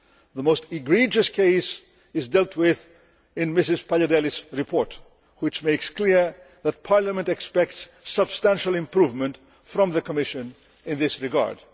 The most outrageous case is dealt with in Mrs Paliadeli's report which makes clear that Parliament expects substantial improvement from the Commission in this regard.